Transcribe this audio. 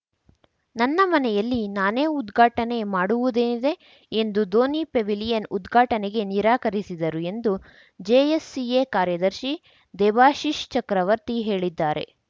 ನನ್ನ ಮನೆಯಲ್ಲಿ ನಾನೇ ಉದ್ಘಾಟನೆ ಮಾಡುವುದೇನಿದೆ ಎಂದು ಧೋನಿ ಪೆವಿಲಿಯನ್‌ ಉದ್ಘಾಟನೆಗೆ ನಿರಾಕರಿಸಿದರು ಎಂದು ಜೆಎಸ್‌ಸಿಎ ಕಾರ್ಯದರ್ಶಿ ದೇಬಾಶಿಶ್‌ ಚಕ್ರವರ್ತಿ ಹೇಳಿದ್ದಾರೆ